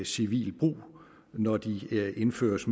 civil brug når de indføres